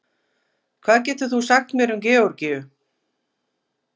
Hvað getur þú sagt mér um Georgíu?